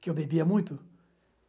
Que eu bebia muito?